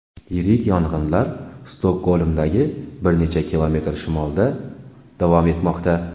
Yirik yong‘inlar Stokgolmdan bir necha kilometr shimolda davom etmoqda.